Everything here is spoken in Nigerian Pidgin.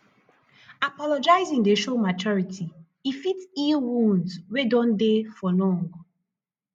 apologizing dey show maturity e fit heal wounds wey don dey for long